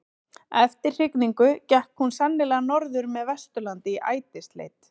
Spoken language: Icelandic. Eftir hrygningu gekk hún sennilega norður með Vesturlandi í ætisleit.